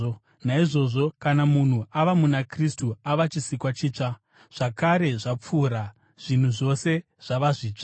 Naizvozvo kana munhu ava muna Kristu, ava chisikwa chitsva; zvakare zvapfuura, zvinhu zvose zvava zvitsva!